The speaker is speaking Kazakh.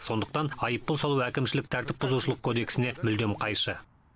сондықтан айыппұл салу әкімшілік тәртіп бұзушылық кодексіне мүлдем қайшы